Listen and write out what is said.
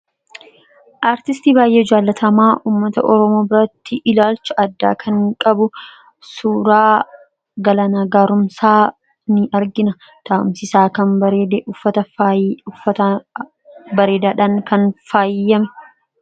artisti baayyee jaalatamaa ummata orooma biratti ilaalcha addaa kan qabu suuraa galana gaarumsaa ni argina taa'umsisaa kan uffata uffata bareedaadhaan kan faayyame